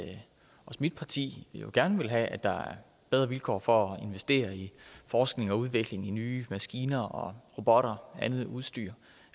at også mit parti gerne vil have at der er bedre vilkår for at investere i forskning og udvikling af nye maskiner og robotter og andet udstyr